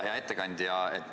Hea ettekandja!